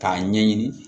K'a ɲɛɲini